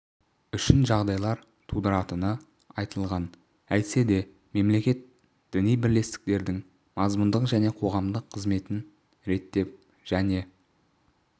үшін жағдайлар тудыратыны айтылған әйтсе де мемлекет діни бірлестіктердің мазмұндық және қоғамдық қызметін реттеп және